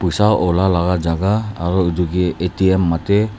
poisa ula laka jhaka aro etu ke A_T_M matia.